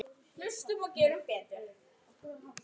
Þetta voru lokaorð hans.